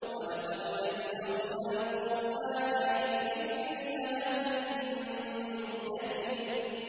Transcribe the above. وَلَقَدْ يَسَّرْنَا الْقُرْآنَ لِلذِّكْرِ فَهَلْ مِن مُّدَّكِرٍ